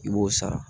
I b'o sara